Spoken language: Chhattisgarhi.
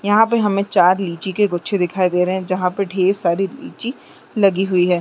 यहाँ पे हमें चार लीची के गुच्छे दिखाई दे रहे है जहाँ पे ढ़ेर सारे लीची लगी हुई है।